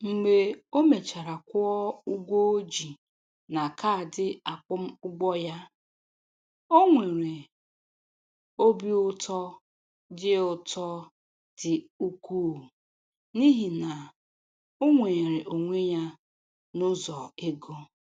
Mgbe o mechara kwụọ ụgwọ o ji na kaadị akwụmụgwọ ya, o nwere obi ụtọ dị ụtọ dị ukwuu n'ihi na o nweere onwe ya n'ụzọ ego.